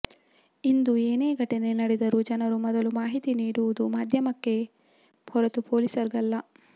ಇಂದು ಏನೇ ಘಟನೆ ನಡೆದರೂ ಜನರು ಮೊದಲು ಮಾಹಿತಿ ನೀಡುವುದು ಮಾಧ್ಯಮಕ್ಕೆಯೇ ಹೊರತು ಪೋಲೀಸ್ಗಲ್ಲ